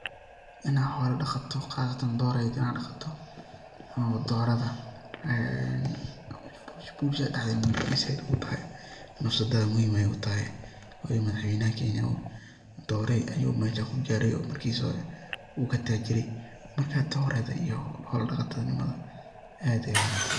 In ad xolo daqato qasatan dhoro ad daqato ama dororadha eeh bulshada dhexdeda muhim ayey said ogutahay nafsadadhana muhim ayey utahay wayo madax weynaha Kenya dorey ayu mesha kugare oo markisi hore uu katajire marka dorada iyo xolo daqata nimadha aad ayey uwanagsantahay